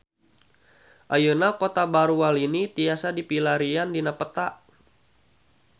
Ayeuna Kota Baru Walini tiasa dipilarian dina peta